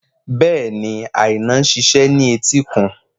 Bẹ́ẹ̀ni, Aina ń ṣiṣẹ́ ní etíkun